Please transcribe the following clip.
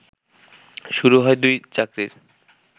শুরু হয় দুই চাকরীর